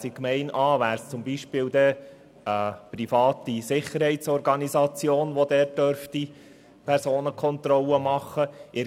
In Gemeinde A wäre es beispielsweise eine private Sicherheitsorganisation, die die Personenkontrollen durchführen dürfte;